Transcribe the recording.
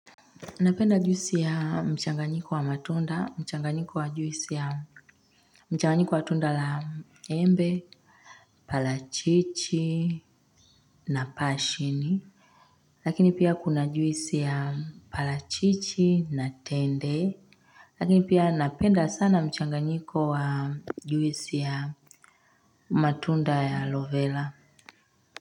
Napenda juisi ya mchanganyiko wa matunda mchanganyiko wa juisi ya mchanganyiko wa tunda la embe parachichi na pashini. Lakini pia kuna juisi ya parachichi na tende. Lakini pia napenda sana mchanganyiko wa juisi ya matunda ya aloe vela.